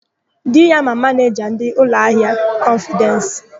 Di ya ma manịja ndị ụlọahịa kọnfịdensi.